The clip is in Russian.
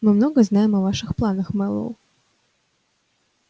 мы много знаем о ваших планах мэллоу